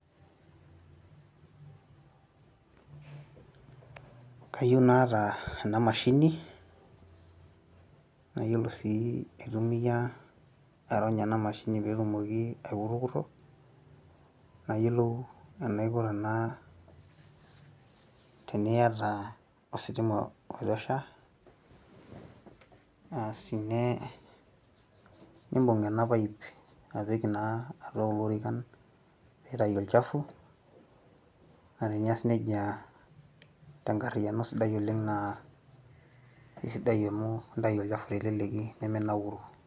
[pausee]kayieu naata ena mashini, nayiolo sii aitumia aironya ena mashini ee etumoki aikururukoro, nayiolou enaiko tena teniata ositima oitosha, asi ne nibung ena pipe, apik na atua kulo orikan nitayu olchafu, naa teenias nejia nitayu orkasi teleleki niminauru.